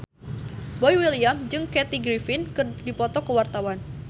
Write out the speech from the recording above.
Boy William jeung Kathy Griffin keur dipoto ku wartawan